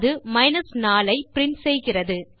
அது 4 ஐ பிரின்ட் செய்கிறது